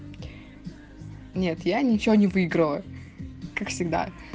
нет я ничего не выиграла как всегда